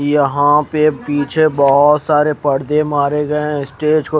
यहां पे पीछे बहोत सारे पर्दे मारे गए है स्टेज को--